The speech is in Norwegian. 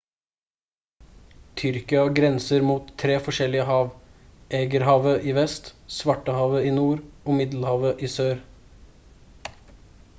tyrkia grenser mot 3 forskjellige hav egeerhavet i vest svartehavet i nord og middelhavet i sør